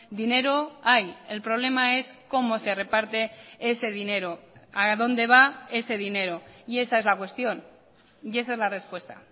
dinero hay el problema es cómo se reparte ese dinero a dónde va ese dinero y esa es la cuestión y esa es la respuesta